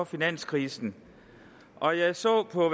finanskrisen og jeg så på